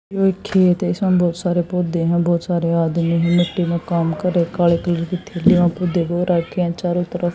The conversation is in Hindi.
ये एक खेत है इसमें बहुत सारे पौधे हैं बहुत सारे आदमी हैं मिट्टी में काम कर रहे काले कलर की थैलियां रखी हैं चारों तरफ--